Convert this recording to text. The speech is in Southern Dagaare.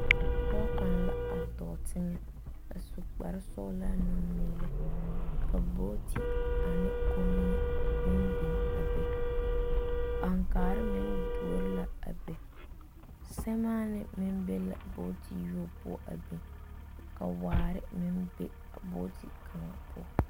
Pɔge kaŋa a dɔɔ teŋɛ a su kpare sɔglaa a taa numeelɛ ka bɔɔte ane Kommie meŋ biŋ a be aŋkaare meŋ duori la be semaane meŋ be la bɔɔte yobo poɔ a biŋ ka waare meŋ be a bɔɔte kaŋa poɔ.